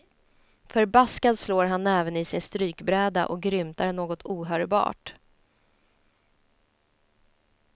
Förbaskad slår han näven i sin strykbräda och grymtar något ohörbart.